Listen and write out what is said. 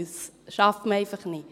Das schafft man einfach nicht.